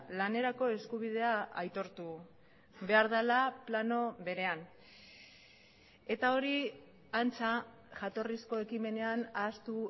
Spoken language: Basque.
lanerako eskubidea aitortu behar dela plano berean eta hori antza jatorrizko ekimenean ahaztu